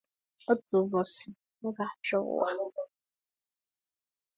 Otu ụbọchị, m ga-achị ụwa